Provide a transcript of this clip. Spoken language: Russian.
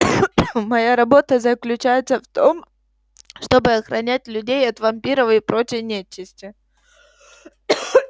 моя работа заключается в том чтобы охранять людей от вампиров и прочей нечисти